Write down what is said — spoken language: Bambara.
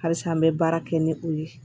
Halisa n bɛ baara kɛ ni u ye